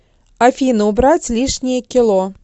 афина убрать лишние кило